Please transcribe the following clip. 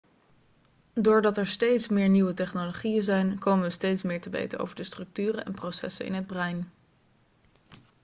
doordat er steeds meer nieuwe technologieën zijn komen we steeds meer te weten over de structuren en processen in het brein